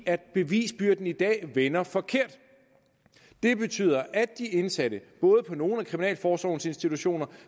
at bevisbyrden i dag vender forkert det betyder at at de indsatte både på nogle af kriminalforsorgens institutioner